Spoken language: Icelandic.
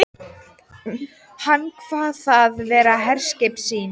Hann kvað það vera herskip sín.